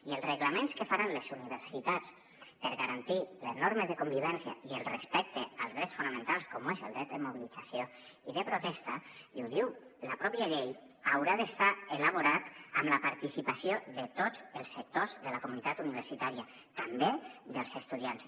i els reglaments que faran les universitats per garantir les normes de convivència i el respecte als drets fonamentals com ho és el dret de mobilització i de protesta i ho diu la pròpia llei hauran de ser elaborats amb la participació de tots els sectors de la comunitat universitària també dels estudiants